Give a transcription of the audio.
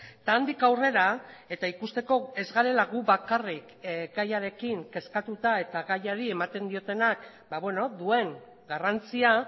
eta handik aurrera eta ikusteko ez garela gu bakarrik gaiarekin kezkatuta eta gaiari ematen diotenak duen garrantzia